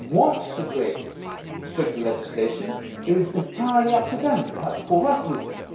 If they want to create stricter legislation, it is entirely up to them they have the full right to do it.